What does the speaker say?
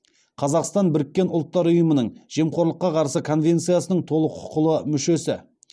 қазақстан біріккен ұлттар ұйымының жемқорлыққа қарсы конвенциясының толық құқылы мүшесі